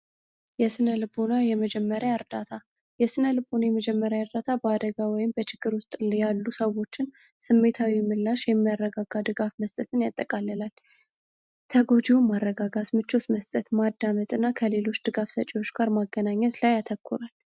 የስነ ልቡና የመጀመሪያ አርዳታ የስነ ልቡና የመጀመሪያ ያርዳታ በአደጋ ወይም በችግር ውስጥያሉ ሰዎችን ስሜታዊ የምላሽ የሚያረጋጋ ድጋፍ መስጠትን ያጠቃልላል። ተጎጂውም ማረጋጋት ምቾት መስጠት ማድዓመጥ እና ከሌሎች ድጋፍሰጪዎች ጋር ማገናኘት ላይ ያተኩራል።